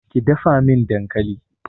Ki dafa min dankali!